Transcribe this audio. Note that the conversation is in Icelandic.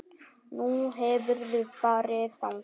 Nú, hefurðu farið þangað?